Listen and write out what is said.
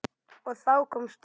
Og þá komst þú.